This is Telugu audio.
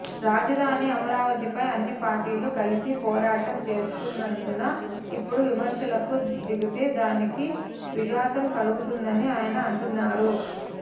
రాజధాని అమరావతిపై అన్ని పార్టీలు కలిసి పోరాటం చేస్తున్నందున ఇప్పుడు విమర్శలకు దిగితే దానికి విఘాతం కలుగుతుందని ఆయన అంటున్నారు